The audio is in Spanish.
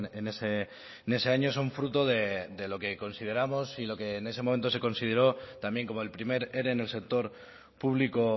en ese año son fruto de lo que consideramos y lo que en ese momento se consideró también como el primer ere en el sector público